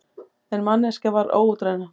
En manneskjan var óútreiknanleg.